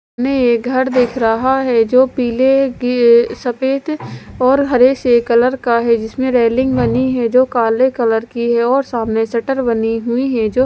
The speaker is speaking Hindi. मैं ये घर देख रहा हैं जो पीले किए सफेद और हरे से कलर का हैं जिसमें रेलिंग बनी हैं जो काले कलर की हैं और सामने शटर बनी हुई हैं जो --